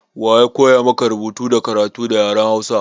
Wa ya koya maka rubutu da karatu da yaren hausa?